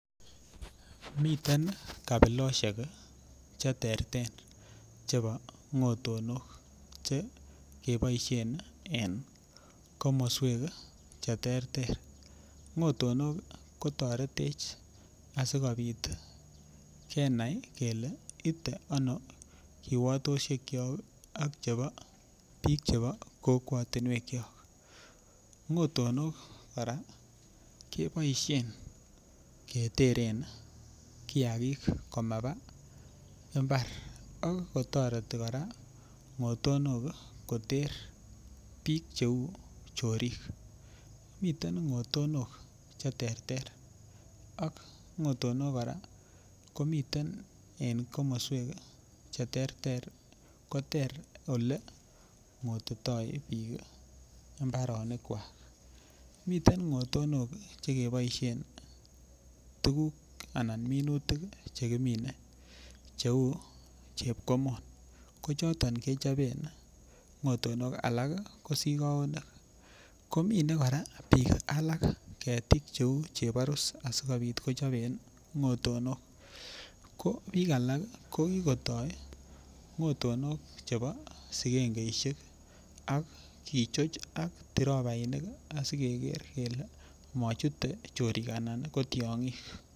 Miten kabilosiek cheterter che bo ng'otonok che keboisien en komoswek cheterter ng'otonok koteretech asikobit kenai kele itee ano kiwatosiekyok ak chebo biik chebo kokwatinwekyok ng'otonok kora keboisien keteren kiagik komaba mbar ak kotoreti ng'otonok koter biik cheu chorik miten ng'otonok cheterter ak ng'otonok kora koniten en komoswek cheterter koter ole ng'otitoi biik mbaronikwak ,miten ng'otonok chekeboisien tuguk anan minutik chekimine cheu chepkomon ko choton kechopen ng'otonok, alak ii ko sokaonik, komine biik alak ketik cheu cheborus asikobit kochoben ng'otonok ,ko biik alak ko kikotoi ng'otonok che bo sikengeisiek ak kichoch ak trobainik asikeker kele mochute chorik anan ii ko tiong'ik .